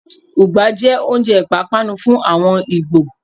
Ùgbá jẹ oúnjẹ ìpápánu fún àwọn Ìgbò.